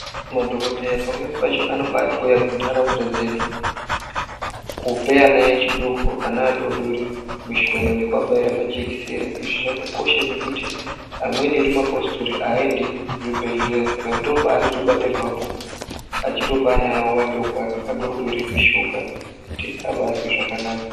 Madhokodheya pamwene pacho anotouya kunharsunda dzedu kupe vana vadoodori vachiabaya majekisera izvi zvakakosha ngekuti amweni edu mapositori aaendi kuchibhehleya Saka ndoopaano zobatirwapo achitopa ana avo vadoodori mishonga kuti abazoita zvakanaka.